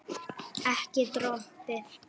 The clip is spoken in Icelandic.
Ekki dropi.